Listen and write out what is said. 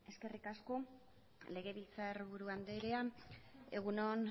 eskerrik asko legebiltzar buru andrea egun on